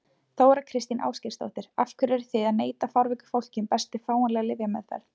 Þóra Kristín Ásgeirsdóttir: Af hverju eruð þið að neita fárveiku fólki um bestu fáanlegu lyfjameðferð?